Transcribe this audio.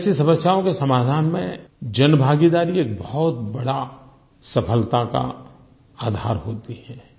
ऐसी समस्याओं के समाधान में जनभागीदारी एक बहुत बड़ा सफलता का आधार होती है